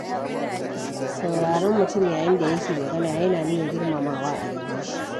Sauraron mutum yayinda yake magana yana nuna girmamawa a gare shi.